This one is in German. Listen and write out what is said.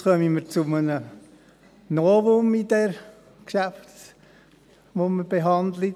Jetzt kommen wir zu einem Novum im Geschäft, das wir jetzt behandeln.